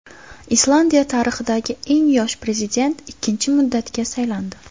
Islandiya tarixidagi eng yosh prezident ikkinchi muddatga saylandi.